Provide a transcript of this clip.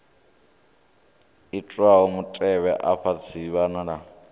itwaho mutevhe afha dzi wanala